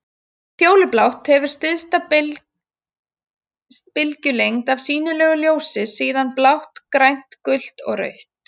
Fjólublátt hefur stysta bylgjulengd af sýnilegu ljósi, síðan blátt, grænt, gult og rautt.